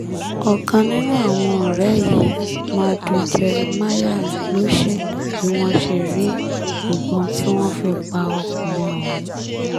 ọ̀kan nínú àwọn ọ̀rẹ́ yìí madù jeremiah ló ṣètò bí wọ́n ṣe rí ìbọn tí wọ́n fi pa ọkùnrin ọ̀hún